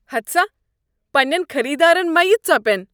ہتہٕ سا، پنٛنین خریدارن مہ یہِ ژۄپین۔